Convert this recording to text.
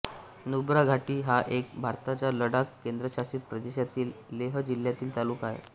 नुब्रा घाटी हा एक भारताच्या लडाख केंद्रशासित प्रदेशातील लेह जिल्हातील तालुका आहे